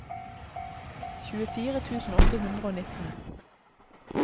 tjuefire tusen åtte hundre og nitten